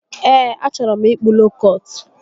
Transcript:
Ee, achọrọ m ịkpụ lookọt